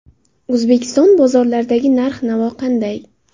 O‘zbekiston bozorlaridagi narx-navo qanday?.